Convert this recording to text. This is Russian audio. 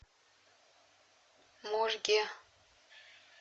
можге